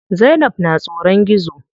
Zainab na tsoron gizo.